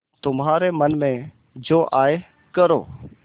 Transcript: तुम्हारे मन में जो आये करो